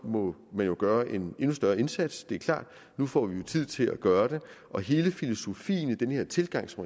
må der jo gøres en endnu større indsats det er klart nu får vi jo tid til at gøre det og hele filosofien i den tilgang til